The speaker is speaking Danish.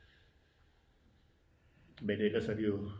Men ellers har de jo